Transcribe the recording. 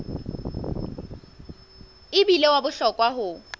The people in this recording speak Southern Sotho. e bile wa bohlokwa ho